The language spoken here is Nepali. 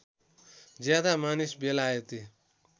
ज्यादा मानिस बेलायती